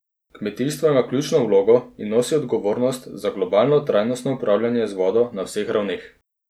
Kmetijstvo ima ključno vlogo in nosi odgovornost za globalno trajnostno upravljanje z vodo na vseh ravneh.